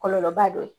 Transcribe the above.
Kɔlɔlɔba dɔ ye